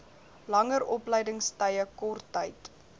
langer opleidingstye korttyd